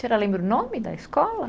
Senhora lembra o nome da escola?